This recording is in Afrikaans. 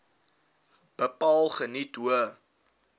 bepaal geniet hoë